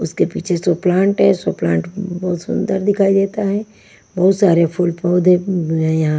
उसके पीछे सो प्लांट है सो प्लांट बहुत सुंदर दिखाई देता है बहुत सारे फूल पौधे--